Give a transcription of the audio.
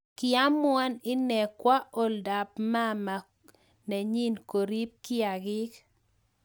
Kii amuan inee kwa oldaap maama nenyii korip kiiakiik